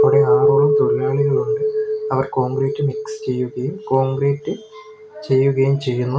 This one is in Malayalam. ഇവിടെ ആറോളം തൊഴിലാളികളുണ്ട് അവർ കോൺക്രീറ്റ് മിക്സ് ചെയ്യുകയും കോൺക്രീറ്റ് ചെയ്യുകയും ചെയ്യുന്നു.